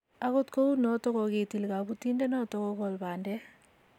akot kou noto kokitil kabotindenoto kokool bandek